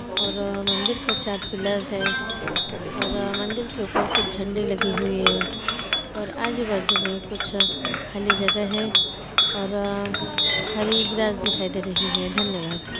और अ मंदिर को चार पिलर है और अ मंदिर के ऊपर कुछ झंडे लगे हुए है और अ आजू बाजू में कुछ खाली जगह है और अ हरि ग्रास दिखाई दे रही हैं । धन्यवाद ।